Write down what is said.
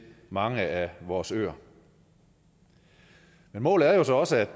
mange af vores øer men målet er jo så også